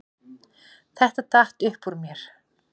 Þetta datt upp úr mér